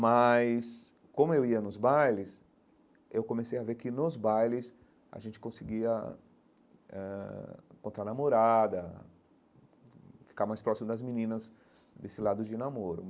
Mas, como eu ia nos bailes, eu comecei a ver que, nos bailes, a gente conseguia ãh eh encontrar namorada, ficar mais próximo das meninas desse lado de namoro.